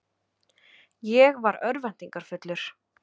Ég var örvæntingarfullur.